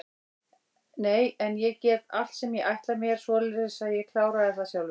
Nei en ég get allt sem ég ætla mér, svoleiðis að ég kláraði það sjálfur.